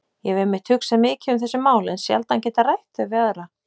Ég hef einmitt hugsað mikið um þessi mál en sjaldan getað rætt þau við aðra.